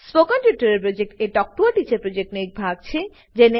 spoken tutorial project talk to a teacher પ્રોજેક્ટનો એક ભાગ છે